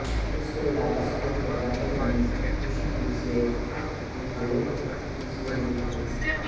ਇਸ ਤੋਂ ਇਲਾਵਾ ਸਕੂਲ ਪ੍ਰਬੰਧਕ ਨੇ ਟਿਊਸ਼ਨ ਫੀਸ ਵਿਚ ਵੀ ਹੋਰ ਫੀਸ ਜੋੜ ਦਿੱਤੀ ਹੈ